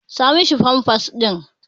Sa mishi pampas ɗin.